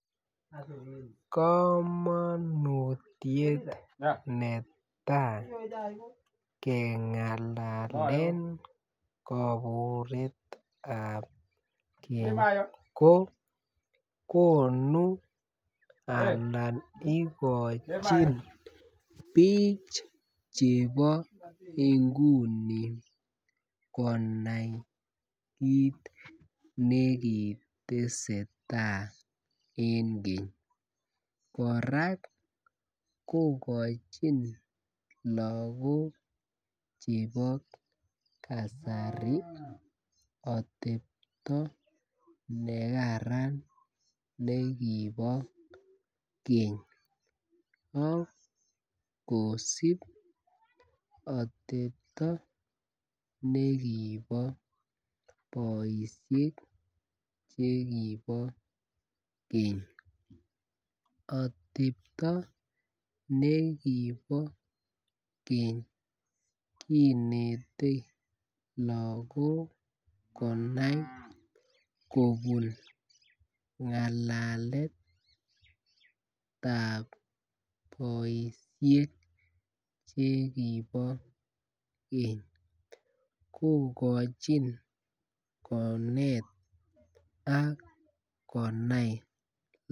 Kamanutiet netai kengalalen kaburet kogonu anan igochin bik chebo inguni konai kit ne ki tesentai en keny kora kogochin lagok chebo kasari atebto ne kararan nekibo keny ak kosub atepto nekibo boisiek chekibo keny atebto nekibo keny kinete lagok konai kobun ngalaletab boisiek chekibo keny kogochin konet ak konai